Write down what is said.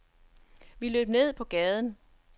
Vi løb ned på gaden.